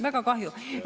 Väga kahju!